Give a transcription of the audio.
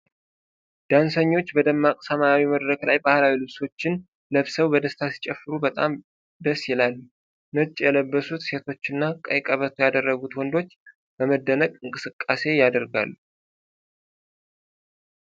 ዳንሰኞች በደማቅ ሰማያዊ መድረክ ላይ ባህላዊ ልብሶችን ለብሰው በደስታ ሲጨፍሩ በጣም ደስ ይላሉ። ነጭ የለበሱት ሴቶችና ቀይ ቀበቶ ያደረጉት ወንዶች በመደነቅ እንቅስቃሴ ያደርጋሉ።